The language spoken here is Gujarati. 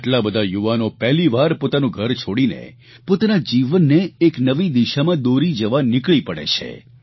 આટલા બધા યુવાનો પહેલીવાર પોતાનું ઘર છોડીને પોતાના જીવનને એક નવી દીશામાં દોરી જવા નીકળી પડે છે